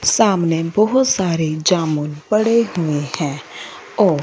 सामने बहुत सारे जामुन पड़े हुए हैं और --